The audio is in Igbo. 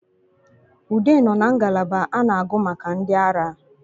Ude nọ na ngalaba a na-agụ maka ndi ara